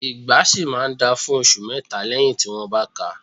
Ìgbá ṣì máa ń dáa fún ọṣù mẹ́tà lẹ́yì tí wọ́n bá káa.